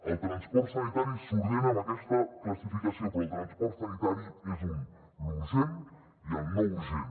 el transport sanitari s’ordena amb aquesta classificació però el transport sanitari és un l’urgent i el no urgent